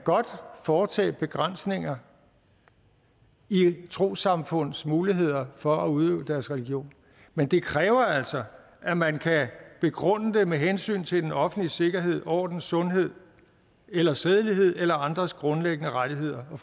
foretage begrænsninger i et trossamfunds muligheder for at udøve deres religion men det kræver altså at man kan begrunde det med hensyn til den offentlige sikkerhed orden sundhed eller sædelighed eller andres grundlæggende rettigheder og